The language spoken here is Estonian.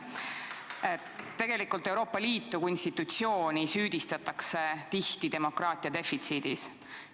Tegelikult süüdistatakse Euroopa Liitu kui institutsiooni tihti demokraatia defitsiidis.